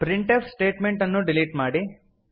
printf statement ಅನ್ನು delete ಮಾಡಿ